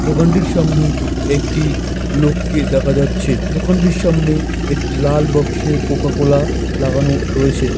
দোকানটির সামনে একটি লোককে দেখা যাচ্ছে দোকানটির সামনে একটি লাল বক্স -এ কোকাকোলা লাগানো রয়েছে।